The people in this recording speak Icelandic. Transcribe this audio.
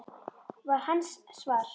var hans svar.